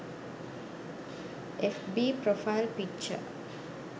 fb profile picture